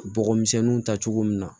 Bɔgɔmisɛnninw ta cogo min na